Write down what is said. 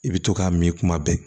I bɛ to k'a mi kuma bɛɛ